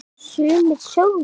Sumir sögðu